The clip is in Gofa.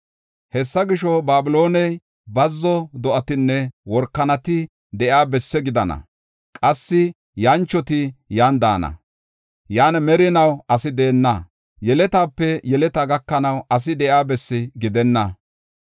“Hessa gisho, Babilooney bazzo do7atinne workanati de7iya bessi gidana; qassi yanchoti yan daana. Yan merinaw asi deenna; yeletaape yeleta gakanaw asi de7iya bessi gidenna.